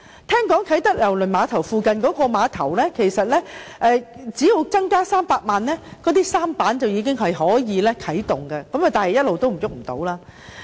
據聞啟德郵輪碼頭附近的碼頭，只要投資300萬元，便可啟動舢舨服務，但一直未能推行。